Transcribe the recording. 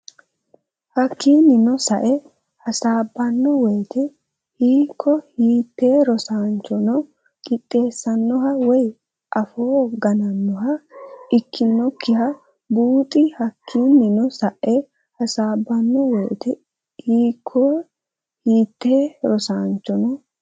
Hakkinnino sae hasaabbanno woyte hiikko hiitte rosaanchono diqqeessannoha woy afoo ganannoha ikkinokkita buuxi Hakkinnino sae hasaabbanno woyte hiikko hiitte rosaanchono.